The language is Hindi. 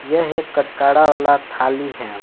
यह एक कचकाड़ा वाला थाली है।